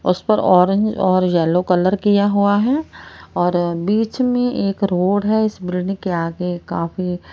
उस पर ऑरेंज और येलो कलर किया हुआ हैं और बीच में एक रोड है इस ब्रिन के आगे काफी--